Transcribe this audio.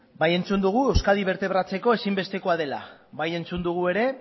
bai entzun dugu euskadi bertebratzeko ezin bestekoa dela bai entzun dugu ere